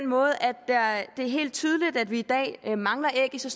måde at det er helt tydeligt at vi i dag mangler æg i så